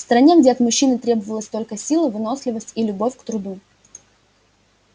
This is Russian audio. в стране где от мужчины требовалась только сила выносливость и любовь к труду